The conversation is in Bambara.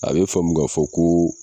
A bɛ faamu ga fɔ koo.